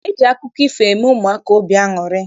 E ji akụkọ ifo eme ụmụaka obi aṅụrị.